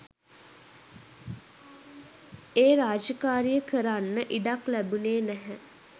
ඒ රාජකාරිය කරන්න ඉඩක් ලැබුණේ නැහැ.